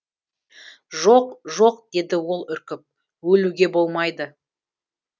жоқ жоқ деді ол үркіп өлуге болмайды